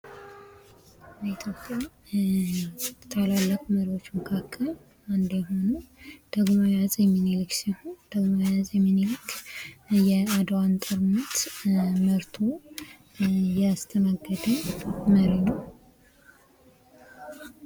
በኢትዮጵያ ከሚታወቁ ታላላቅ መሪዎች መካከል እንደኛ የሆነው ዳግማዊ አፄ ምኒልክ ሲሆን የአድዋን ጦርነት መርቶ ያስተናገደ መሪ ነው ።